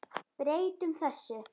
Breytum þessu.